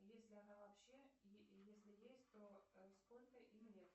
есть ли она вообще если есть то сколько им лет